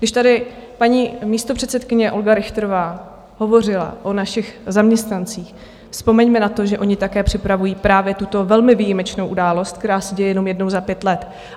Když tady paní místopředsedkyně Olga Richterová hovořila o našich zaměstnancích, vzpomeňme na to, že oni také připravují právě tuto velmi výjimečnou událost, která se děje jenom jednou za pět let.